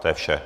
To je vše.